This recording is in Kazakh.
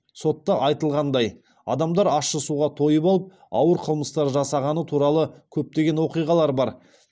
сотта айтылғандай адамдар ащы суға тойып алып ауыр қылмыстар жасағаны туралы көптеген оқиғалар бар